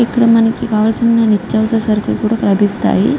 ఇక్కడ మనకు కావలసిన నిత్యావసర సరుకులు కూడా లభిస్తాయి.